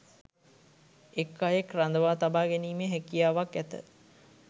එක් අයෙක් රඳවා තබා ගැනීමේ හැකියාවක් ඇත